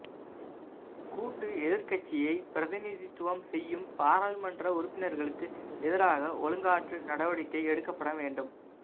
கூட்டு எதிர்க்கட்சியை பிரதிநிதித்துவம் செய்யும் பாராளுமன்ற உறுப்பினர்களுக்கு எதிராக ஒழுக்காற்று நடவடிக்கை எடுக்கப்பட வேண்டு